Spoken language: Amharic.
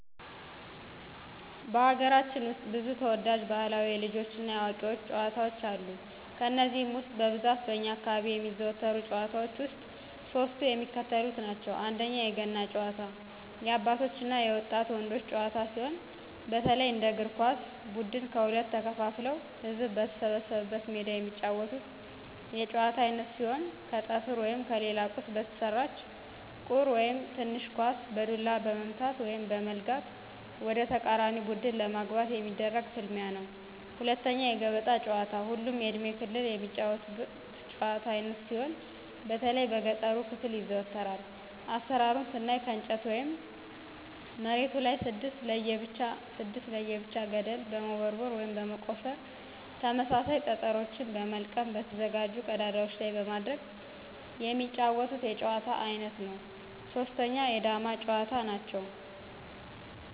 በሀገራችን ውስጥ ብዙ ተወዳጅ ባህላዊ የልጆች እና የአዋቂዎች ጨዋታዎች አሉ። ከነዚህም ውስጥ በብዛት በእኛ አካባቢ የሚዘወተሩ ጭዋታዎች ውስጥ ሶስቱ የሚከተሉትን ናቸው፦ 1=የገና ጨዋታ- የአባቶች እና የወጣት ወንዶች ጨዋታ ሲሆን፣ በተለይ እንደ እግር ኳስ ብድን ከሁለት ተከፋፍለው ህዝብ በተሰበሰበበት ሜዳ የሚጫወቱት የጨዋታ አይነት ሲሆን ከጠፍር ወይም ከሌላ ቁስ በተሰራች ቁር (ትንሽ ኳስ) በዱላ በመምታት(በመለጋት) ወደተቃራኒ ቡድን ለማግባት የሚደረግ ፍልሚያ ነው። 2=የገበጣ ጨዋታ ሁሉም የእድሜ ክልል የሚጫወቱት የጭዋታ አይነት ሲሆን በተለይ በገጠሩ ክፍል ይዘወተራል። አሰራሩን ስናይ ከእንጨት ወይም መሬቱ ላይ 6 ለብቻ 6 ለብቻ ገደልችን በመቦርቦር (በመቆፈር) ተመሳሳይ ጠጠሮችን በመልቀም በተዘጋጁ ቀዳዳዎች ላይ በማድረግ የሚጫወቱት የጨዋታ አይነት ነው። 3=የዳማ ጭዋታ; ነው።